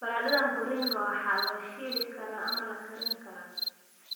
Baradhada mviringo waxaa la shiili karaa ama la karan karaa.